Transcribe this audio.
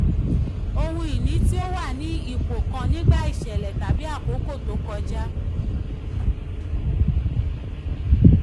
ohun ìní tí ó wà ní ipò kan nígbà iṣẹ̀lẹ̀ tàbí àkókò tó kọjá.